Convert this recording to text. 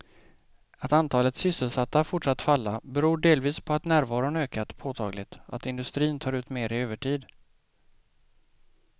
Att antalet sysselsatta fortsatt falla beror delvis på att närvaron ökat påtagligt och att industrin tar ut mer i övertid.